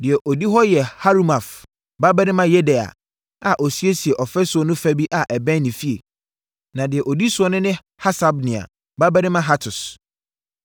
Deɛ ɔdi hɔ yɛ Harumaf babarima Yedaia a ɔsiesiee ɔfasuo no fa bi a ɛbɛn ne fie, na deɛ ɔdi ne soɔ ne Hasabnia babarima Hatus.